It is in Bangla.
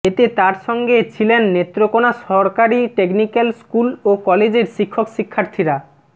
এতে তার সঙ্গে ছিলেন নেত্রকোনা সরকারি টেকনিক্যাল স্কুল ও কলেজের শিক্ষক ও শিক্ষার্থীরা